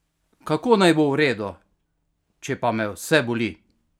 Kako naj bo v redu, če pa me vse boli!